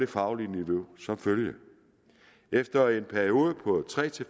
fagligt niveau som følge at efter en periode på tre